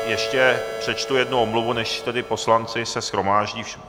Ještě přečtu jednu omluvu, než tedy poslanci se shromáždí.